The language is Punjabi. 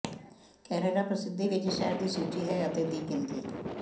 ਕੈਨੇਡਾ ਪ੍ਰਸਿੱਧੀ ਵਿੱਚ ਸ਼ਹਿਰ ਦੀ ਸੂਚੀ ਹੈ ਅਤੇ ਦੀ ਗਿਣਤੀ